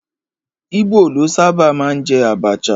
Íbò ló sábà máa ń jẹ àbàchà